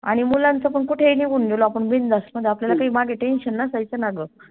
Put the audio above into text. आणि मुलांच पन कुठेही निघून गेलो आपण बिनधास मग आपल्याला काई मागे Tension नसायच ना ग